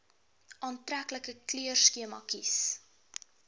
aantreklike kleurskema kies